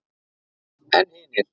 En hinir.